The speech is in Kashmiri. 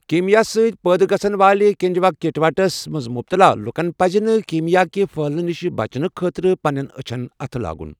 کیٖمیا ستٕۍ پٲدٕ گَژھن والہِ کنٛجنٛکٹِوایٹسس منٛز مُبتَلا لُکن پَزِ نہٕ کیٖمیا كہِ پٔھہلنہٕ نِش بچنہٕ خٲطرٕ پنٛنیٚن أچھن اَتھٕ لاگُن ۔